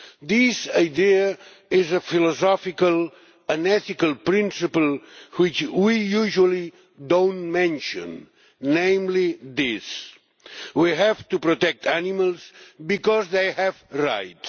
This idea is a philosophical and ethical principle which we usually do not mention, namely this we have to protect animals because they have rights.